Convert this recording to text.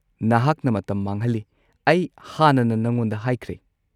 ꯅꯍꯥꯛꯅ ꯃꯇꯝ ꯃꯥꯡꯍꯜꯂꯤ, ꯑꯩ ꯍꯥꯟꯅꯅ ꯅꯉꯣꯟꯗ ꯍꯥꯏꯈ꯭ꯔꯦ꯫